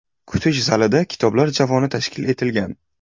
Kutish zalida kitoblar javoni tashkil etilgan.